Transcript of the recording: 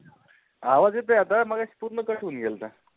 आवाज येतोय आता मगाशी पूर्ण cut होउन घेलता